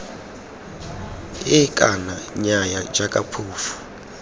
ee kana nnyaya jaaka phofu